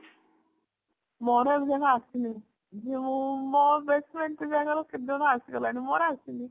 ଆସିନି ଯୋଉ ମୋ best friend ଗାଲରେ କେବେଠୁ ଆସିଗଲାଣି ମୋର ଆସିନି